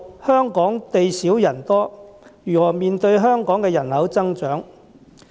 香港地少人多，如何面對人口增長？